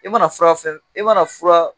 I mana fura fɛn o i mana fura